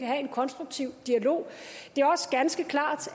have en konstruktiv dialog det er også ganske klart